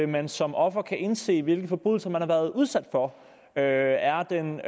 man som offer kan nå at indse hvilke forbrydelser man har været udsat for er er den